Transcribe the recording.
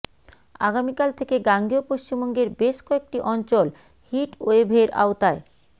আগামীকাল থেকে গাঙ্গেয় পশ্চিমবঙ্গের বেশ কয়েকটি অঞ্চল হিটওয়েভের আওতায়